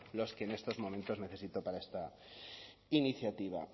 los que en estos momentos necesito para esta iniciativa